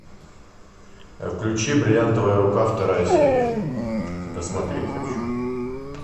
включи бриллиантовая рука вторая серия досмотреть хочу